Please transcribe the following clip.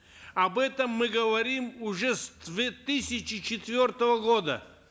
об этом мы говорим уже с две тысячи четвертого года